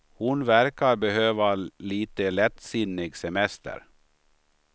Hon verkar behöva lite lättsinnig semester.